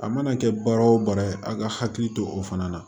A mana kɛ baara o baara ye a ka hakili to o fana na